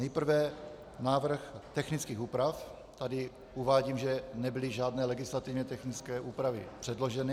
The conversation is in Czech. Nejprve návrh technických úpra -, tady uvádím, že nebyly žádné legislativně technické úpravy předloženy.